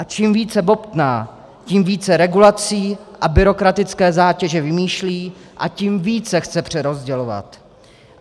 A čím více bobtná, tím více regulací a byrokratické zátěže vymýšlí a tím více chce přerozdělovat.